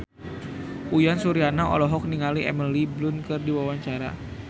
Uyan Suryana olohok ningali Emily Blunt keur diwawancara